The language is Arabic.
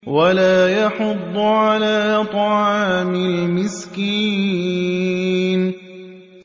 وَلَا يَحُضُّ عَلَىٰ طَعَامِ الْمِسْكِينِ